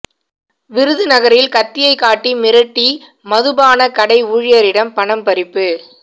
விருதுநகரில் கத்தியைக் காட்டி மிரட்டிமதுபானக் கடை ஊழியரிடம் பணம் பறிப்பு